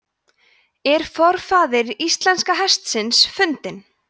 „er forfaðir íslenska hestsins fundinn“